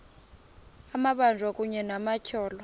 amabanjwa kunye nabatyholwa